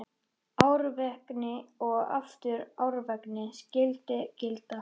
Árvekni og aftur árvekni skyldi gilda.